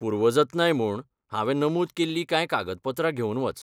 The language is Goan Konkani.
पूर्वजतनाय म्हूण, हांवे नमूद केल्लीं कांय कागदपत्रां घेवन वच.